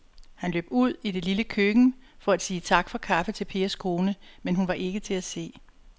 Han løb ud i det lille køkken for at sige tak for kaffe til Pers kone, men hun var ikke til at se.